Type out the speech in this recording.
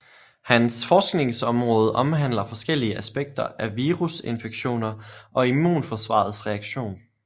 Hans forskningområde omhandler forskellige aspekter af virusinfektioner og immnforsvarets reaktion